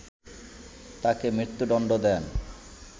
তাকে মৃত্যুদণ্ড দেন